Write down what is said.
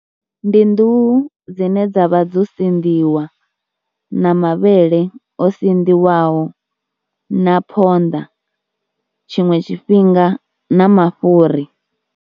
Ndi nḓuhu dzine dza vha dzo sinḓisiwa na mavhele o sanḓiwaho na phonḓa tshiṅwe tshifhinga na mafhuri.